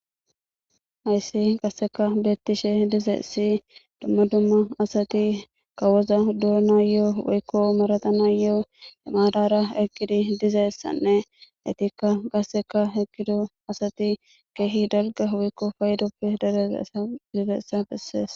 hayssi gasseka beettishe dizeessi dumma dumma asati kawoza duona yoo woykko maratana yoo emaadara eqqidi dizaessanne etikka qasseka heqido asati keehi dalga woykko faydoppe dereea dizeessa bessees